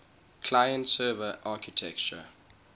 client server architecture